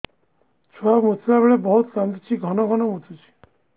ଛୁଆ ମୁତିଲା ବେଳେ ବହୁତ କାନ୍ଦୁଛି ଘନ ଘନ ମୁତୁଛି